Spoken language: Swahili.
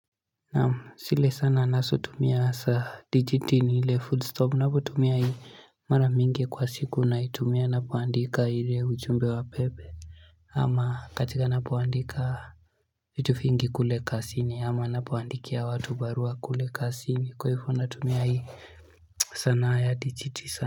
Naam zile sana ninasotumia za digiti ni ile food stop unapotumia hii mara mingi kwa siku unaitumia na kuandika ile ujumbe wa pepe ama katika napoandika vitu vingi kule kazini ama napoandikia watu barua kule kazini kwa hivyo natumia hii sanaa ya digiti sana.